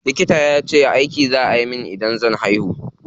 Likita yace aiki za a yi min idan zan haihu.